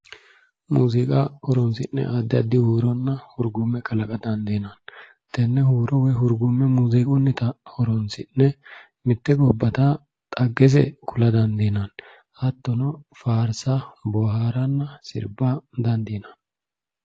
Muziiqa horonsi'ne addi addi huuronna hurgume kalaqa dandiinanni tene huuro woyi hurgume muziiqunnitta horonsi'ne mite gobbatta xaggese ku'la dandiinanni hattono faarsa booharanna sirba dandiinanni.